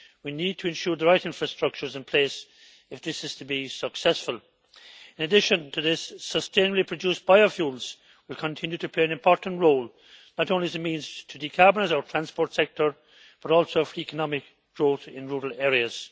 We need to ensure the right infrastructure is in place if this is to be successful. In addition to this, sustainably produced biofuels will continue to play an important role, not only as a means to decarbonise our transport sector, but also for economic growth in rural areas.